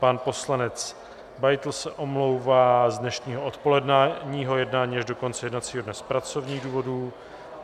Pan poslanec Beitl se omlouvá z dnešního odpoledního jednání až do konce jednacího dne z pracovních důvodů.